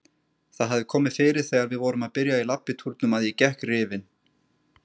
Það hafði komið fyrir þegar við vorum að byrja í labbitúrunum að ég gekk rifin.